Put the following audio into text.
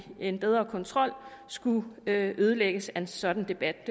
en bedre kontrol skulle ødelægges af en sådan debat